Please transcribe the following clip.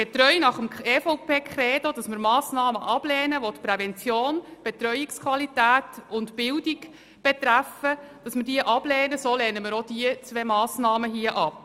Getreu nach dem Credo der EVP, wonach wir Massnahmen ablehnen, welche die Prävention, die Betreuungsqualität und die Bildung betreffen, lehnen wir auch diese beiden Massnahmen ab.